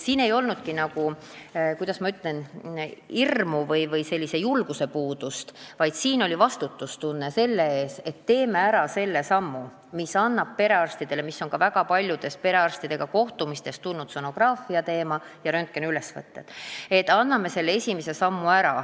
Siin ei olnud, kuidas ma ütlen, hirmu, siin ei olnud julguse puudumist, vaid oli vastutustunne, et teeme ära selle esimese sammu, millest on räägitud ka väga paljudel kohtumistel perearstidega, st sonograafia ja röntgeniülesvõtted.